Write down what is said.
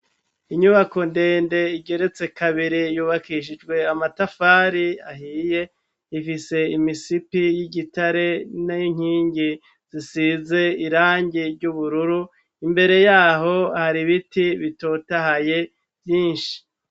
Inyubako ndende igeretse kabiri yubakishijwe amatafari ahiye ifise imisipi y'igitare n'inkingi zisize irangi ry'ubururu imbere yaho hari biti bitotahaye vyinshi.